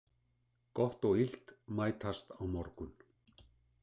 Gott og illt mætast á morgun.